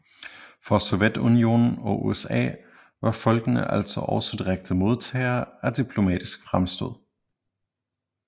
For Sovjetunionen og USA var folkene altså også direkte modtagere af diplomatiske fremstød